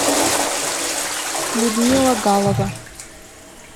людмила галова